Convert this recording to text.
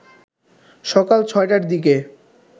সকাল ৬টার দিকে